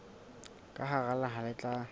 ka hara naha le tla